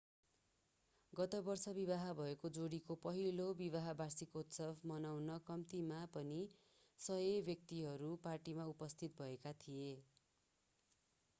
गत वर्ष विवाह भएको जोडीको पहिलो विवाह वार्षिकोत्सव मनाउन कम्तीमा पनि 100 व्यक्तिहरू पार्टीमा उपस्थित भएका थिए